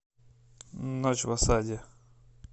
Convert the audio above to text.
ночь в осаде